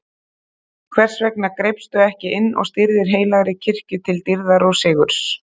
Hvers vegna greipstu ekki inn og stýrðir heilagri kirkju til dýrðar og sigurs?